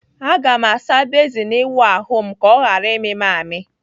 Aga m asa bezin ịwụ ahụ m ka ọ ghara ịmị m amị.